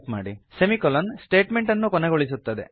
semicolon statement ಅನ್ನು ಕೊನೆಗೊಳಿಸುತ್ತದೆ